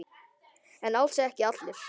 En alls ekki allir.